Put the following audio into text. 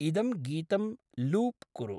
इदं गीतं लूप् कुरु।